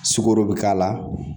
Sukoro bɛ k'a la